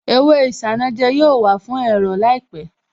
Èwe isanaja yóò wà fún ẹ̀rọ̀ láìpẹ̀